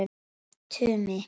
Tumi